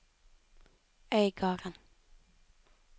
Øygarden